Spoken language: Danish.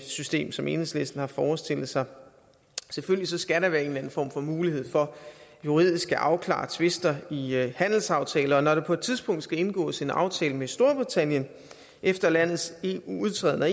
system som enhedslisten har forestillet sig selvfølgelig skal der være en eller anden form for mulighed for juridisk at afklare tvister i handelsaftaler og når der på et tidspunkt skal indgås en aftale med storbritannien efter landets udtræden af